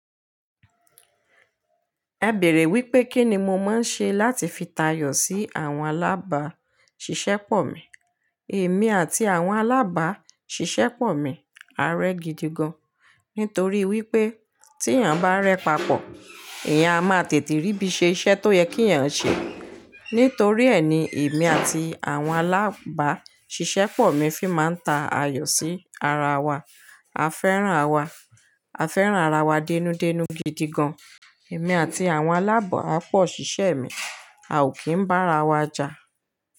Ẹ bèèrè wípé kín ni mo máa ń ṣe láti fi tayọ̀ sí àwọn alábà ṣiṣẹ́ pọ̀ mi. Èmi àti àwọn alábà ṣiṣẹ́ pọ̀ mi á rẹ́ gidi gan, nítorí wípé tí èèyàn bá rẹ papọ̀, eeyán a máa tètè rí bí i ṣe iṣẹ́ tó yẹ kí èèyàn ṣe. Nítorí ẹ ni èmi àti àwọn alábà ṣiṣẹ́ pọ̀ mi fi máa ń ta ayọ̀ sí ara wa. A fẹ́ràn ara wa denúdenú gidi gan. Èmi àti àwọn alábàápọ̀ ṣiṣẹ́ mi a ò kí ń bá ara wa jà.